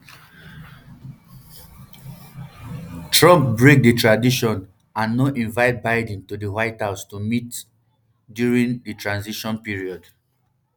trump break di tradition and no invite biden to di white house to meet um during di transition period